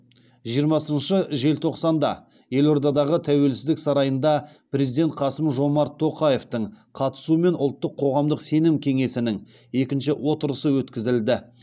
жиырмасыншы желтоқсанда елордадағы тәуелсіздік сарайында президент қасым жомарт тоқаевтың қатысуымен ұлттық қоғамдық сенім кеңесінің екінші отырысы өткізілді